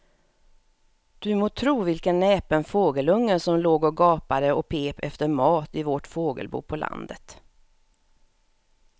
Du må tro vilken näpen fågelunge som låg och gapade och pep efter mat i vårt fågelbo på landet.